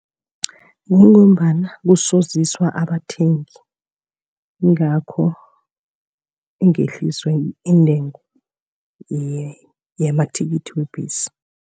Kungombana kusoziswa abathengi, yingakho ingehliswa intengo yamathikithi webhesi.